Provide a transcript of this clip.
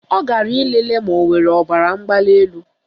Ọ gara ịlele ma o nwere ọbaramgbalịelu